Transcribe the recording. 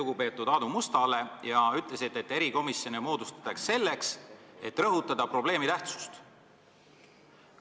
Te viitasite Aadu Mustale, kellest ma väga lugu pean, ja ütlesite, et erikomisjone moodustatakse selleks, et rõhutada probleemi tähtsust.